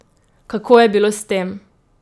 Kako je bilo s tem?